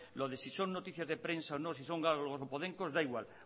lo de si son noticia de prensa o no si son galgos o podencos da igual